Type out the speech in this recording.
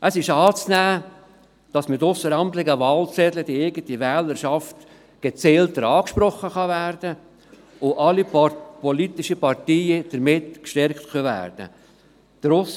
Es ist anzunehmen, dass mit ausseramtlichen Wahlzetteln die eigene Wählerschaft gezielter angesprochen werden kann und alle politischen Parteien damit gestärkt werden können.